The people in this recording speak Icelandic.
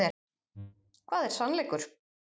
Hvað er sannleikur?